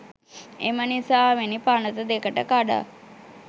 එමනිසාවෙනි පනත දෙකට කඩා